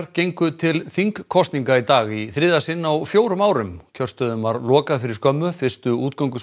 gengu til þingkosninga í dag í þriðja sinn á fjórum árum kjörstöðum var lokað fyrir skömmu fyrstu